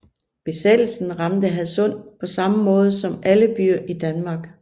Besættelsen ramte Hadsund på samme måde som alle byer i Danmark